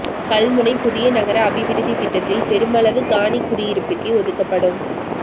கல்முனை புதிய நகர அபிவிருத்தித் திட்டத்தில் பெருமளவு காணி குடியிருப்புக்கே ஒதுக்கப்படும்